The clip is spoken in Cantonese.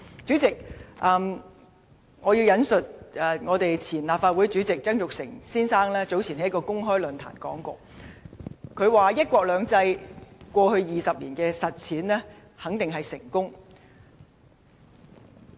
主席，我要引述前立法會主席曾鈺成先生早前在一個公開論壇的說話，他說"一國兩制"過去20年的實踐肯定是成功的。